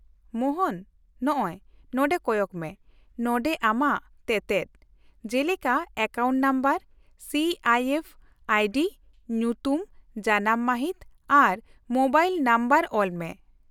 -ᱢᱳᱦᱚᱱ, ᱱᱚᱜᱼᱚᱭ, ᱱᱚᱸᱰᱮ ᱠᱚᱭᱚᱜ ᱢᱮ, ᱱᱚᱸᱰᱮ ᱟᱢᱟᱜ ᱛᱮᱛᱮᱫ, ᱡᱮᱞᱮᱠᱟ account number, C I F ID, ᱧᱩᱛᱩᱢ, ᱡᱟᱱᱟᱢ ᱢᱟᱹᱦᱤᱛ ᱟᱨ ᱢᱳᱵᱟᱭᱤᱞ ᱱᱟᱢᱵᱟᱨ ᱚᱞᱢᱮ ᱾